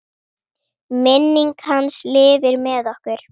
Minning hans lifir með okkur.